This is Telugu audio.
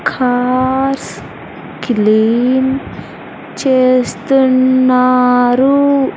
కార్స్ క్లీన్ చేస్తున్నారు.